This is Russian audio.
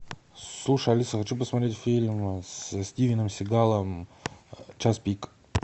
слушай алиса хочу посмотреть фильм со стивеном сигалом час пик